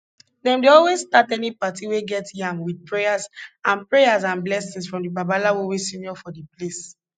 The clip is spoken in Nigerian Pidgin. dem dey always start any party wey get yam with prayers and prayers and blessings from the babalawo wey senior for d place